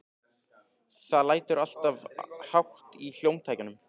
Það lætur alltof hátt í hljómtækjunum.